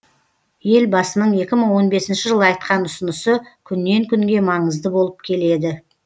елбасының екі мың он бесінші жылы айтқан ұсынысы күннен күнге маңызды болып келеді